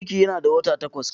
Cikin yana da wata takwas.